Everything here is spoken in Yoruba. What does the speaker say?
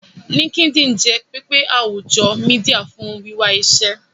linkedin jé pẹpẹ àwùjọ media fún wiwà iṣé.